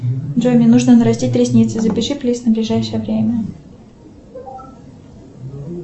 джой мне нужно нарастить ресницы запиши плиз на ближайшее время